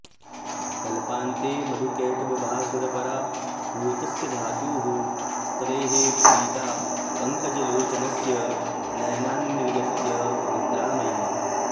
कल्पान्ते मधुकैटभासुरपराभूतस्य धातुः स्तवैः प्रीता पङ्कजलोचनस्य नयनान्निर्गत्य निद्रामयी